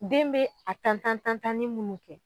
Den bɛ a tan tan tan tan ni munnu kɛ.